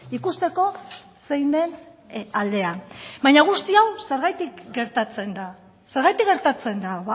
ikusteko zein den aldea baina guzti hau zergatik gertatzen da zergatik gertatzen da